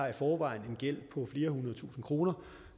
i forvejen har en gæld på flere hundrede tusinde kroner